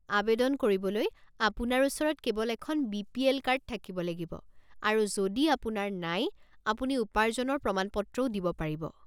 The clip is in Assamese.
আৱেদন কৰিবলৈ আপোনাৰ ওচৰত কেৱল এখন বি.পি.এল. কাৰ্ড থাকিব লাগিব আৰু যদি আপোনাৰ নাই, আপুনি উপাৰ্জনৰ প্ৰমাণপত্ৰও দিব পাৰিব।